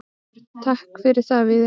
Björn: Takk fyrir það Víðir.